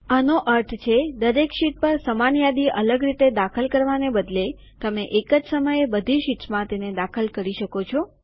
આનો અર્થ છે દરેક શીટ પર સમાન યાદી અલગ રીતે દાખલ કરવાને બદલે તમે એક જ સમયે બધી શીટ્સમાં તેને દાખલ કરી શકો છો